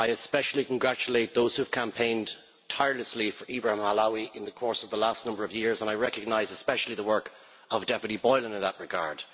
I especially congratulate those who have campaigned tirelessly for Ibrahim Halawa in the course of the last number of years, and I recognise especially the work of Ms Boylan in that regard.